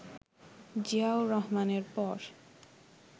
জিয়াউর রহমানের পর